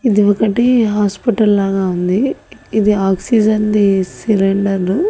ఇది ఒకటి హాస్పిటల్ లాగా ఉంది ఇది ఆక్సిజన్ ది సిలిండర్రు .